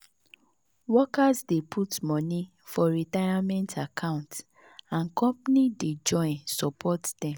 workers dey put money for retirement account and company dey join support dem.